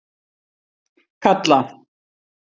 Kalla